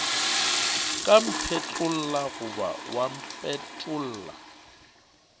ka mphetlolla goba wa mpetolla